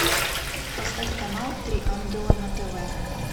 поставь канал три ангела на тв